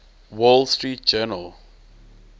wall street journal